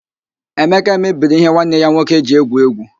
Emeka mebiri ihe nwanne ya nwoke ji egwu égwú.